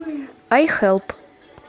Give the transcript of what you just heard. айхэлп